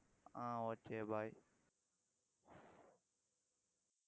ah okay bye